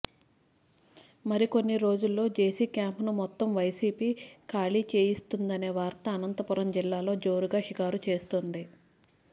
మరికొన్ని రోజుల్లో జేసీ క్యాంపును మొత్తం వైసీపీ ఖాళీ చేయిస్తుందనే వార్త అనంతపురం జిల్లాలో జోరుగా షికారు చేస్తోంది